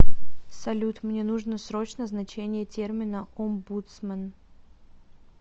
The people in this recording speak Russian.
салют мне нужно срочно значение термина омбудсмен